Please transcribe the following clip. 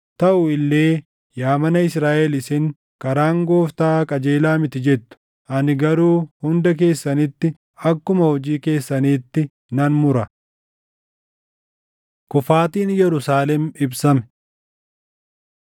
Taʼu illee yaa mana Israaʼel isin, ‘Karaan Gooftaa qajeelaa miti’ jettu. Ani garuu hunda keessanitti akkuma hojii keessaniitti nan mura.” Kufaatiin Yerusaalem Ibsame